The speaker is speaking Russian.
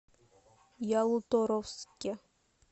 ялуторовске